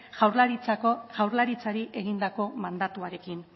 jaurlaritzari egindako mandatuarekin